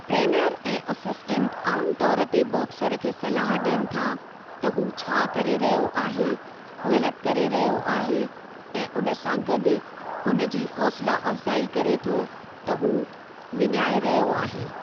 Trainer ऐं assistant आमु तौर ते बॉक्सर खे सलाह ॾियनि था त हू छा करे रहियो आहे ग़लति करे रहियो आहे ऐं उन सां गॾु हुन जी हौसला अफ़्ज़ाई करे थो त हू विञाइ रहियो आहे।